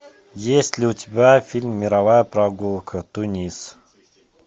есть ли у тебя фильм мировая прогулка тунис